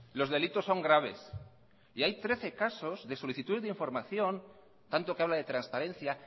los delitos son graves y hay trece casos de solicitud de información tanto que habla de transparencia